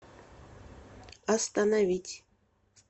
остановить